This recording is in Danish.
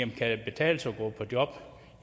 det kan betale sig